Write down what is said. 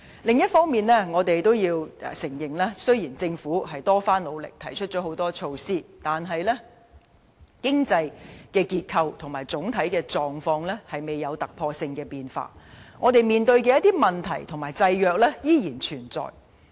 另一方面，我們亦要承認，雖然政府多番努力提出很多措施，但經濟結構及整體狀況仍未有突破性變化，我們面對的一些問題和限制仍然存在。